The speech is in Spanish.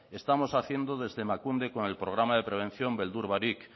estamos haciendo desde emakunde con el programa de prevención beldur barik